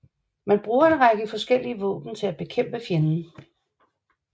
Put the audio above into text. Man bruger en række forskellige våben til at bekæmpe fjenden